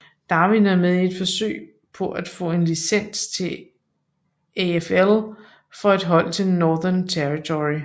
Darwin er med i et forsøg på at få en licens til AFL for et hold fra Northern Territory